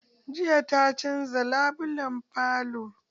Jiya ta canza labulan falo.